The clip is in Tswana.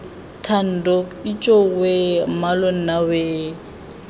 thando ijoowee mmalo nna wee